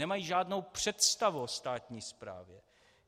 Nemají žádnou představu o státní správě.